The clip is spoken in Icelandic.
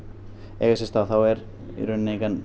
eiga sér stað er